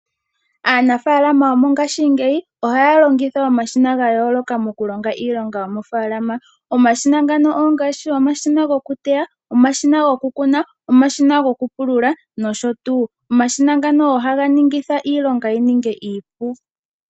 Aanafaalama yongashingeyi ohaya longitha omashina ga yooloka mokulonga iilonga yomofaalama. Omashina ngano ongaashi omashina gokuteya, omashina gokukuna, omashina gokupulula nosho tuu. Omashina ngano ohaga ningitha iilonga yi ninge iipu.